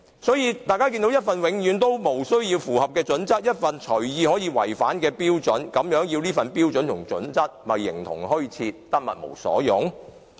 所以，這份《規劃標準》是永遠無須符合或隨意可以違反的標準，實在形同虛設，得物無所用。